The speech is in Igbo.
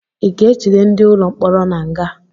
I ga-ejide ndị ụlọ mkpọrọ n'aga?